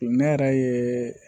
Ne yɛrɛ ye